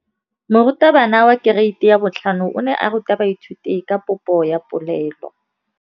Moratabana wa kereiti ya 5 o ne a ruta baithuti ka popô ya polelô.